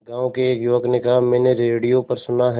गांव के एक युवक ने कहा मैंने रेडियो पर सुना है